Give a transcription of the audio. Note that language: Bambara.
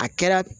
A kɛra